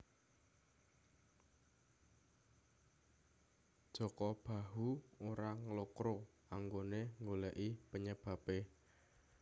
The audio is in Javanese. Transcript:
Jaka Bahu ora nglokro anggone nggoleki penyebabe